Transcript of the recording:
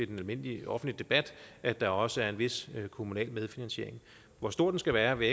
den almindelige offentlige debat at der også er en vis kommunal medfinansiering hvor stor den skal være vil